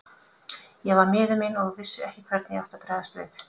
Ég var miður mín og vissi ekki hvernig ég átti að bregðast við.